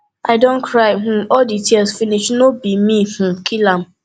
i don cry um all the tears finish no be me um kill am